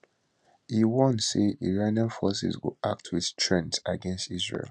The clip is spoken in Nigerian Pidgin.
e warn say iranian forces go act wit strength against israel